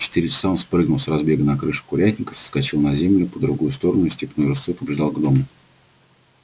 в четыре часа он прыгнул с разбега на крышу курятника соскочил на землю по другую сторону и степной рысцой побежал к дому